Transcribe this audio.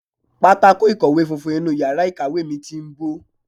Pátákó ìkọ̀wé funfun inú yàrá ìkàwé mi ti ń bó.